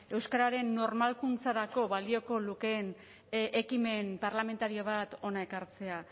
euskararen normalkuntzarako balioko lukeen ekimen parlamentario bat hona ekartzea